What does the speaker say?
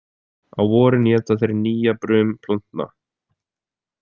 Á vorin éta þeir nýjabrum plantna.